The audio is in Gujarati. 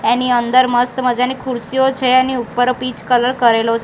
એની અંદર મસ્ત મજાની ખુરસીઓ છે એની ઉપર પીચ કલર કરેલો--